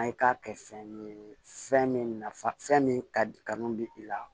An ye k'a kɛ fɛn ye fɛn min nafa fɛn min kadi kanu bɛ i la